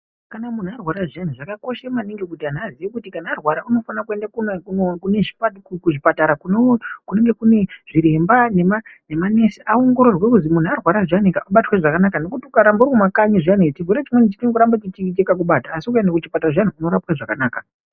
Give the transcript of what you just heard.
Kana munhu arwara zviyani zvakakoshe maningi kuti kana arwara unofane kuende kuno kuno kune zvipatara kzvipatara kunonge kune zvirembaa nema nemanesi kunoongorerwe kuzi kana munhu arwara zviyanika ngakubatwe zvakanaka ngokuti ukaramba uri kumakanyi zviyani chirwere chimweni chinongoramba chakakubata asi kuti ukaende kuchipatara zviyana zvinorapwe zvakanaka.